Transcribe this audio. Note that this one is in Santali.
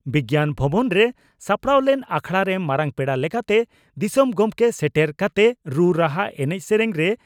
ᱵᱤᱜᱭᱟᱱ ᱵᱷᱚᱵᱚᱱ ᱨᱮ ᱥᱟᱯᱲᱟᱣ ᱞᱮᱱ ᱟᱠᱷᱲᱟᱨᱮ ᱢᱟᱨᱟᱝ ᱯᱮᱲᱟ ᱞᱮᱠᱟᱛᱮ ᱫᱤᱥᱚᱢ ᱜᱚᱢᱠᱮ ᱥᱮᱴᱮᱨ ᱠᱟᱛᱮ ᱨᱩ ᱨᱟᱦᱟ ᱮᱱᱮᱡ ᱥᱮᱨᱮᱧ ᱨᱮ